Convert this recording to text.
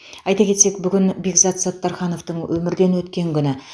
айта кетсек бүгін бекзат саттархановтың өмірден өткен күні